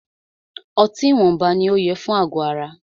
Ọtí ìwọnba ní o yẹ fún àgọ ara.